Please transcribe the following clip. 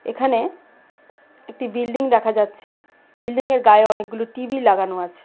এখানে একটি বিল্ডিং দেখা যাচ্ছে বিল্ডিংয়ের গায়ে অনেকগুলো টি_ভি লাগানো আছে।